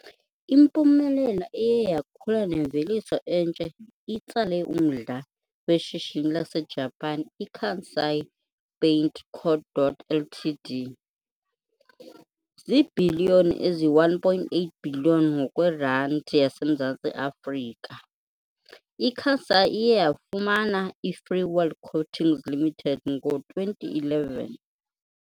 Impumelelo eye yakhula nemveliso entsha itsale umdla weshishini laseJapan iKansai Paint Co. Ltd, Kansai. Ziibhiliyoni ezi-1.8 billion ngokweRandi yaseMzantsi Afrika, iKansai iye yafumana iFreeworld Coatings Limited ngo-2011.